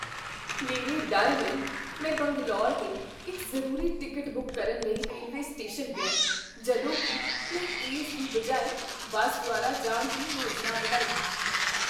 ਮੇਰੇ ਡਰ ਲਈ, ਮੈਂ ਬੰਗਲੌਰ ਲਈ ਇੱਕ ਜ਼ਰੂਰੀ ਟਿਕਟ ਬੁੱਕ ਕਰਨ ਲਈ ਰੇਲਵੇ ਸਟੇਸ਼ਨ ਗਿਆ ਜਦੋਂ ਕੀ ਮੈਂ ਇਸ ਦੀ ਬਜਾਏ ਬੱਸ ਦੁਆਰਾ ਜਾਣ ਦੀ ਯੋਜਨਾ ਬਣਾਈ।